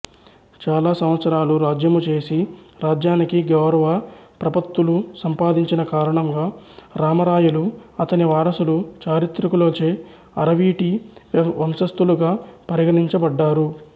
చాల సంవత్సరాలు రాజ్యము చేసి రాజ్యానికి గౌరవప్రపత్తులు సంపాదించిన కారణంగా రామరాయలు అతని వారసులు చారిత్రికులచే అరవీటి వంశస్థులుగా పరిగణింపబడ్డారు